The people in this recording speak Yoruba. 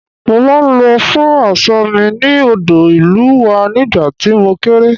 Mo máa ń lọ fọ aṣọ mi ní odò ìlú wa nígbà tí mo kéré